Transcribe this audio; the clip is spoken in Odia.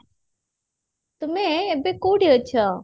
ତୁମେ ଏବେ କଉଠି ଅଛ?